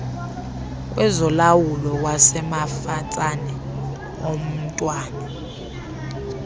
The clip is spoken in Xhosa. kwezolawulo wasemafatsane omntwana